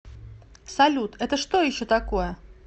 салют это что еще такое